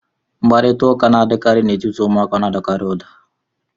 Mkparịta ụka n'etiti ụmụaka na-adịkarị ụda